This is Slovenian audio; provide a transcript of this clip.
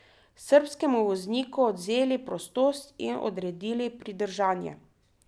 Srbskemu vozniku odvzeli prostost in odredili pridržanje.